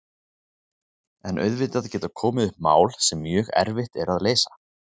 En auðvitað geta komið upp mál sem mjög erfitt er að leysa.